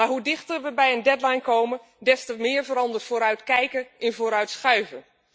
Maar hoe dichter we bij een deadline komen, des te meer verandert vooruitkijken in vooruitschuiven.